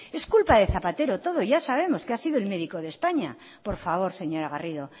es culpa de zapatero todo ya sabemos que ha sido el médico de españa por favor señora garrido